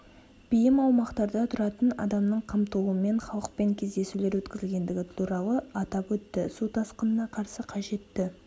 бейім аумақтарда тұратын адамның қамтылуымен халықпен кездесулер өткізілгендігі туралы атап өтті су тасқынына қарсы қажетті